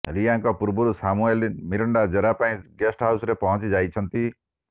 ରିୟାଙ୍କ ପୂର୍ବରୁ Samuel Miranda ଜେରା ପାଇଁ ଗେଷ୍ଟ ହାଉସରେ ପହଞ୍ଚିଯାଇଛନ୍ତି